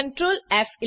control ફ11